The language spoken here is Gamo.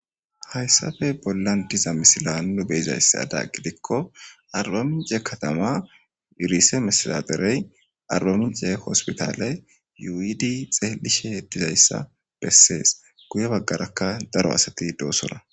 Hayssappe bollan diza misiliyan nu be7izayssi hessadan gidiko arbamincce katama riisemestedadere arbamincce hosppitaale yuuyidi xeelishshe dizayssa bessees. Guyye bagarakka daro asati doosona .